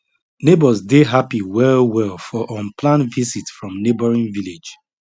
elders dey happy well well for unplanned visit from neighboring village